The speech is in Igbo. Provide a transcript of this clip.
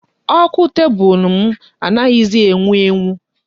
Ọkụ tebụlụ m anaghịzi enwu enwu.